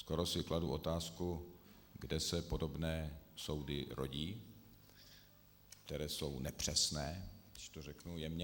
Skoro si kladu otázku, kde se podobné soudy rodí, které jsou nepřesné, když to řeknu jemně.